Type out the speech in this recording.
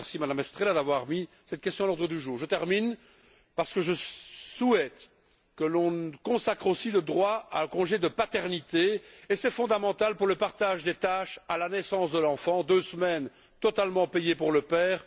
Je remercie Mme Estrela d'avoir mis cette question à l'ordre du jour. Pour terminer, je souhaite que l'on consacre aussi le droit à un congé de paternité, qui est fondamental pour le partage des tâches à la naissance de l'enfant deux semaines totalement payées pour le père.